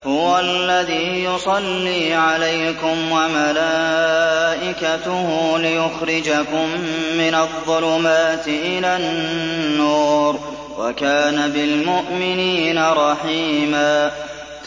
هُوَ الَّذِي يُصَلِّي عَلَيْكُمْ وَمَلَائِكَتُهُ لِيُخْرِجَكُم مِّنَ الظُّلُمَاتِ إِلَى النُّورِ ۚ وَكَانَ بِالْمُؤْمِنِينَ رَحِيمًا